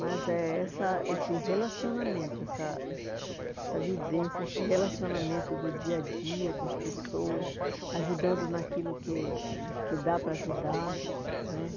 Mas é essa esse relacionamento, essa essa vivência, esse relacionamento do dia-a-dia com as pessoas, ajudando naquilo que que dá para ajudar né.